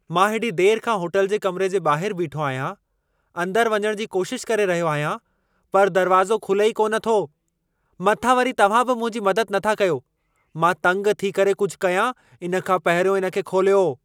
मां हेॾी देर खां होटल जे कमिरे जे ॿाहिरि बीठो आहियां। अंदरु वञणु जी कोशिशि करे रहियो आहियां, पर दरवाज़ो खुले ई कान थो। मथां वरी तव्हां बि मुंहिंजी मदद नथा कयो। मां तंग थी करे कुझु कयां, इन खां पहिरियों इन खे खोलियो।